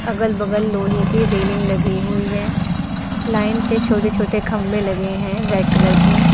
अगल बगल लोहे के रेलिंग लगी हुई है। लाइन से छोटे छोटे खम्बें लगे हैं रेड कलर के।